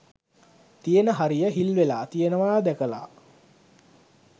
තියෙන හරිය හිල් වෙලා තියෙනවා දැකලා